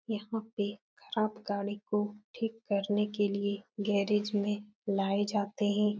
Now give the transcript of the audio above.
यहाँ पे खराब गाड़ी को ठीक करने के लिए गैरेज में लाये जाते हैं।